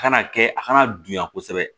A kana kɛ a kana dunya kosɛbɛ